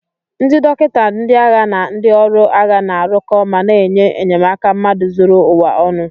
Ndị dọkịta ndị agha na ndị ọrụ agha na-arụko ma na-enye enyemaka mmadụ zuru ụwa ọnụ.